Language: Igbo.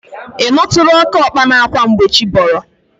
Ị nụtụla oke ọkpa na-akwa mgbe chi bọrọ?